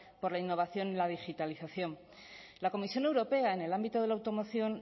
por la innovación y la digitalización la comisión europea en el ámbito de la automoción